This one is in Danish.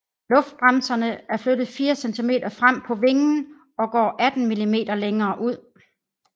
Luftbremserne er flyttet 4 cm frem på vingen og går 18 mm længere ud